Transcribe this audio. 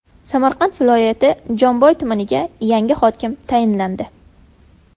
Samarqand viloyati Jomboy tumaniga yangi hokim tayinlandi.